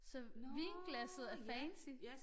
Så vinglasset er fancy